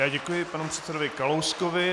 Já děkuji panu předsedovi Kalouskovi.